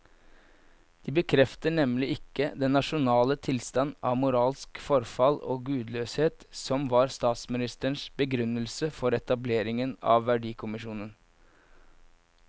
De bekrefter nemlig ikke den nasjonale tilstand av moralsk forfall og gudløshet som var statsministerens begrunnelse for etableringen av verdikommisjonen.